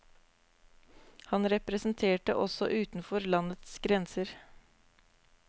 Han representerte også utenfor landets grenser.